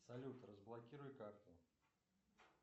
салют разблокируй карту